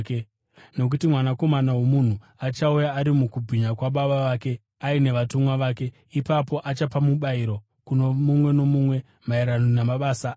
Nokuti Mwanakomana woMunhu achauya ari mukubwinya kwaBaba vake aine vatumwa vake, ipapo achapa mubayiro kuno mumwe nomumwe maererano namabasa ake.